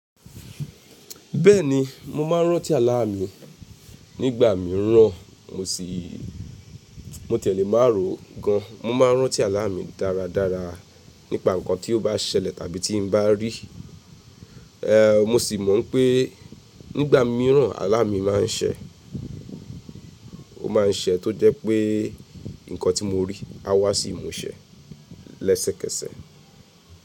Bẹẹni, mo máa ń rántí Àlà mí. Nígbà mí ń ràn mo sì, mo tẹ̀lé márò gan. Mo máa ń rántí Àlà mí dáradára nípa nǹkan tí ó bá ṣẹlẹ̀ tàbí tí n bá rí. Ehn, mo sì mọ̀ pé nígbà mí ń ràn Àlà mí máa ń ṣẹ̀, ó máa ń ṣẹ̀ tó jẹ́ pé nǹkan tí mo rí á wá sí ìmúṣẹ lẹ́sẹ̀kẹsẹ̀.